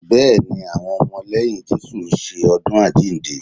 Bẹ́ẹ̀ ni, àwọn ọmọ lẹ́yìn Jésù ń ṣe ọdún àjíǹde